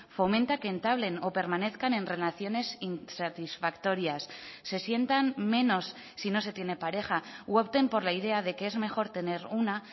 fomenta que entablen o permanezcan en relaciones insatisfactorias se sientan menos si no se tiene pareja u opten por la idea de que es mejor tener una